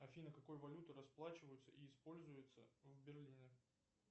афина какой валютой расплачиваются и используется в берлине